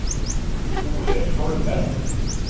Thorleif Holmen